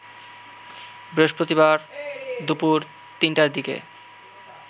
বৃহস্পতিবার দুপুর ৩টার দিকে